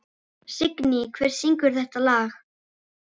Signý, hver syngur þetta lag?